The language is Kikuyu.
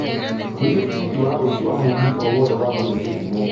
wiĩge tigiti wa rũciũ wa mũgithi o wothe wa gũthiĩ githumo